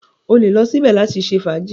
O lè lọ síbẹ̀ láti ṣe fàájì.